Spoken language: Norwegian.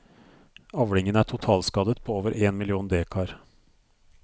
Avlingen er totalskadet på over én million dekar.